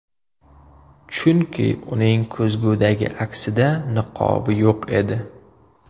Chunki uning ko‘zgudagi aksida niqobi yo‘q edi.